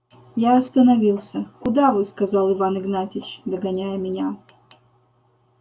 я остановился куда вы сказал иван игнатьич догоняя меня